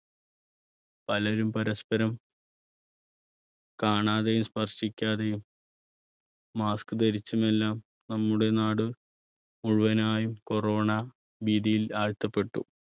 പലരും പരസ്പരം കാണാതെയും സ്പർശിക്കാതെയും mask ധരിച്ചുമെല്ലാം നമ്മുടെ നാട് മുഴുവനായും corona ഭീതിയിൽ ആഴ്ത്തപ്പെട്ടു.